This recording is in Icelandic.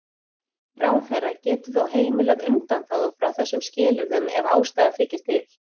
Ráðherra getur þó heimilað undanþágu frá þessum skilyrðum ef ástæða þykir til.